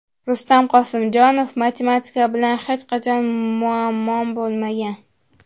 Rustam Qosimjonov: Matematika bilan hech qachon muammom bo‘lmagan.